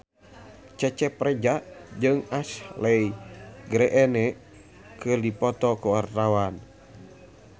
Cecep Reza jeung Ashley Greene keur dipoto ku wartawan